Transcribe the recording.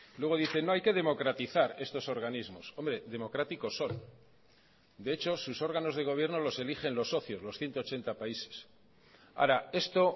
luego dicen no hay que democratizar estos organismos hombre democráticos son de hecho sus órganos de gobierno los eligen los socios los ciento ochenta países ahora esto